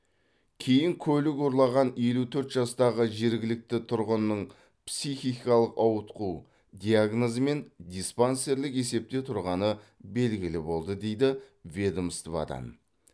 кейін көлік ұрлаған елу төрт жастағы жергілікті тұрғынның психикалық ауытқу диагнозымен диспансерлік есепте тұрғаны белгілі болды дейді ведомстводан